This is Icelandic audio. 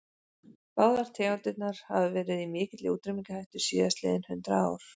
Báðar tegundirnar hafa verið í mikilli útrýmingarhættu síðastliðin hundrað ár.